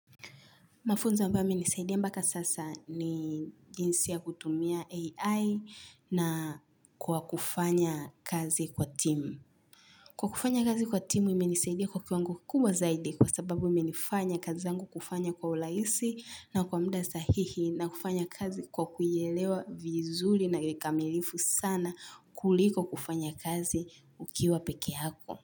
Mafunzo ambayo yamenisaidia mpaka sasa ni jinsi ya kutumia AI na kwa kufanya kazi kwa timu. Kwa kufanya kazi kwa timu, imenisaidia kwa kiwango kubwa zaidi kwa sababu imenifanya kazi zangu kufanya kwa urahisi na kwa muda sahihi na kufanya kazi kwa kuielewa vizuri na kikamilifu sana kuliko kufanya kazi ukiwa pekee yako.